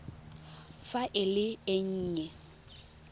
fa e le e nnye